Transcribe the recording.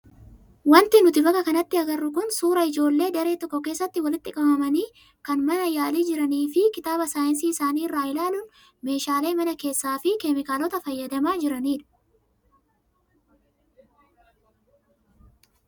Wanti nuti bakka kanatti agarru kun suuraa ijoollee daree tokko keessatti walitti qabamanii kan mana yaalii jiranii fi kitaaba saayinsii isaanii irraa ilaaluun meeshaalee mana kana keessaa fi keemikaalota fayyadamaa jiranidha.